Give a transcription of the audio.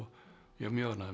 ég er mjög ánægður með